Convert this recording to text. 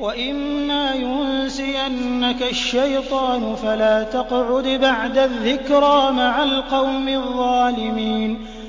وَإِمَّا يُنسِيَنَّكَ الشَّيْطَانُ فَلَا تَقْعُدْ بَعْدَ الذِّكْرَىٰ مَعَ الْقَوْمِ الظَّالِمِينَ